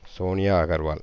Sonia Agarwal